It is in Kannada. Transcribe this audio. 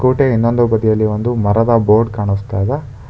ಸ್ಕೂಟಿ ಯ ಇನ್ನೊಂದು ಬದಿಯಲ್ಲಿ ಒಂದು ಮರದ ಬೋರ್ಡ್ ಕಾಣಸ್ತಾ ಇದೆ.